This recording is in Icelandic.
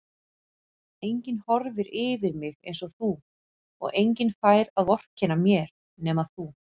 Enginn horfir yfir mig einsog þú og enginn fær að vorkenna mér nema þú.